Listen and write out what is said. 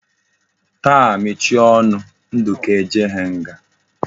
Taa mechie onu gi! Nduka ejeghi nga!